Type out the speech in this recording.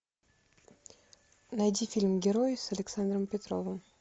найди фильм герой с александром петровым